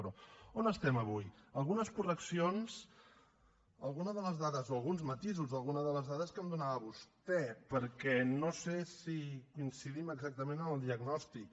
però on estem avui algunes correccions a alguna de les dades o alguns matisos d’alguna de les dades que em donava vostè perquè no sé si coincidim exactament en el diagnòstic